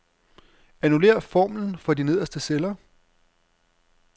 Annullér formlen for de nederste celler.